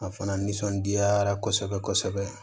A fana nisɔndiyara kosɛbɛ kosɛbɛ